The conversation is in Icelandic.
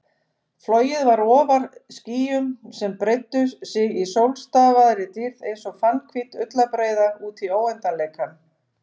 Flogið var ofar skýjum sem breiddu sig í sólstafaðri dýrð einsog fannhvít ullarbreiða útí óendanleikann.